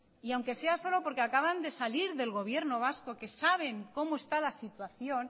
y aunque sea solo porque acaban de salir del gobierno vasco que saben cómo está la situación